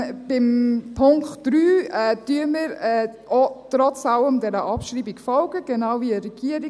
Beim Punkt 3 folgen wir trotz allem der Abschreibung, genau wie die Regierung.